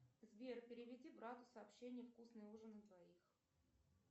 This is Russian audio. сбер переведи брату сообщение вкусный ужин на двоих